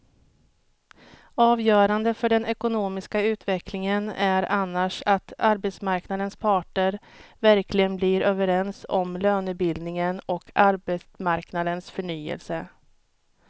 Avgörande för den ekonomiska utvecklingen är annars att arbetsmarknadens parter verkligen blir överens om lönebildningen och arbetsmarknadens förnyelse.